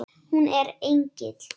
Hún er engill.